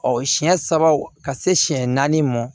Ɔ siɲɛ saba ka se siyɛn naani mɔ